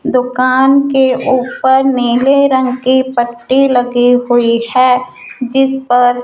दुकान के ऊपर नीले रंग की पट्टी लगी हुई है जिस पर --